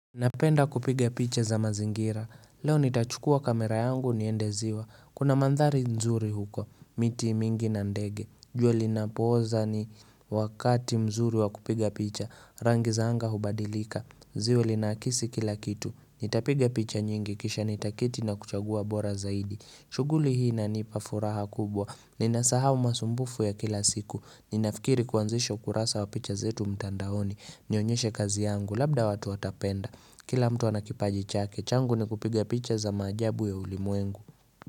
Napenda kupiga picha za mazingira, leo nitachukua kamera yangu niendeziwa, kuna mandhari nzuri huko, miti mingi na ndege, jua linapooza ni wakati mzuri wa kupiga picha, rangi za anga hubadilika, zio linakisi kila kitu, nitapiga picha nyingi kisha nitaketi na kuchagua bora zaidi, shuguli hii na nipa furaha kubwa, ninasahau masumbufu ya kila siku, ninafikiri kuanzisha ukurasa wa picha zetu mtandaoni, nionyeshe kazi yangu, labda watu watapenda Kila mtu ana kipaji chake, changu ni kupiga picha za maajabu ya ulimwengu.